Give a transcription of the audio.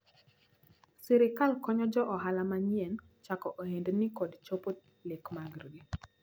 Sirikal konyo jo ohala manyien chako ohendni kod chopo lek margi.